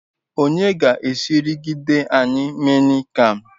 Onye ga Eskridge anyi Mian Kham